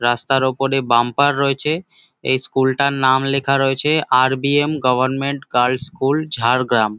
রাস্তার ওপরে বাম্পার রয়েছে। এই স্কুল -টার নাম লেখা রয়েছে RBM government girls school Jhargram.